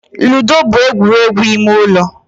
Ludo bụ egwuregwu ime ụlọ